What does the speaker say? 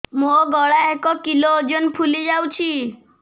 ମୋ ଗଳା ଏକ କିଲୋ ଓଜନ ଫୁଲି ଯାଉଛି